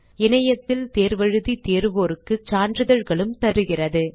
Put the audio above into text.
இணையத்தில் தேர்வு எழுதி தேர்வோருக்கு சான்றிதழ்களும் அளிக்கிறது